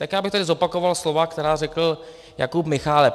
Tak já bych tady zopakoval slova, která řekl Jakub Michálek.